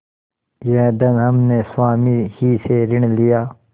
यह धन हमने स्वामी ही से ऋण लिया